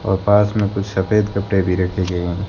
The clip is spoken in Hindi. और पास में कुछ सफेद कपड़े भी रखे गए हैं।